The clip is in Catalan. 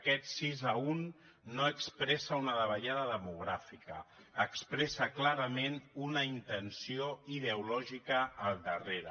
aquest sis a un no expressa una davallada demogràfica expressa clarament una intenció ideològica al darrere